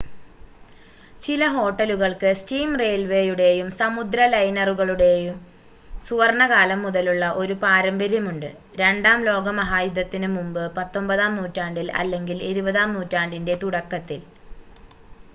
ചില ഹോട്ടലുകൾക്ക് സ്റ്റീം റെയിൽവേയുടെയും സമുദ്ര ലൈനറുകളുടെയും സുവർണ്ണകാലം മുതലുള്ള ഒരു പാരമ്പര്യമുണ്ട് രണ്ടാം ലോക മഹായുദ്ധത്തിന് മുമ്പ് 19-ആം നൂറ്റാണ്ടിൽ അല്ലെങ്കിൽ 20-ആം നൂറ്റാണ്ടിൻ്റെ തുടക്കത്തിൽ